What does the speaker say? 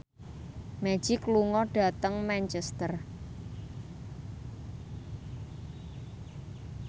Magic lunga dhateng Manchester